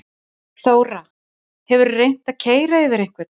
Þóra: Hefurðu reynt að keyra yfir einhvern?